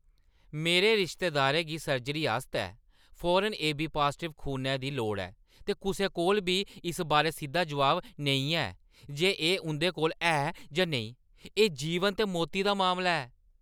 मेरे रिश्तेदारै गी सर्जरी आस्तै फौरन एबी-पाजटिव खूनै दी लोड़ ऐ, ते कुसै कोल बी इस बारै सिद्धा जवाब नेईं है जे एह् उं'दे कोल है जां नेईं। एह् जीवन ते मौती दा मामला ऐ!